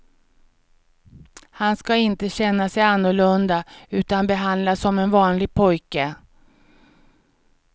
Han ska inte känna sig annorlunda, utan behandlas som en vanlig pojke.